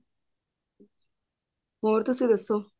ਹੋਰ ਤੁਸੀਂ ਦੱਸੋ